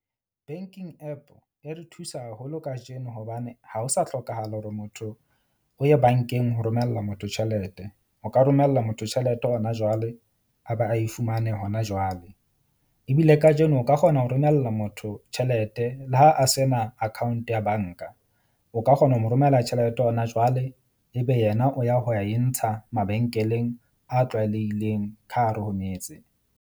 Banking app e re thusa haholo kajeno hobane ha ho sa hlokahala hore motho o ye bank-eng ho romella motho tjhelete. O ka romella motho tjhelete hona jwale a ba a e fumane hona jwale. Ebile kajeno o ka kgona ho romella motho tjhelete le ha a sena account ya bank-a, o ka kgona ho mo romela tjhelete hona jwale. Ebe yena o ya ho e ntsha mabenkeleng a tlwaelehileng ka hare ho metse.